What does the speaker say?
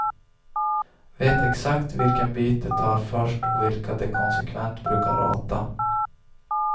Vet exakt vilken bit de tar först och vilka de konsekvent brukar rata.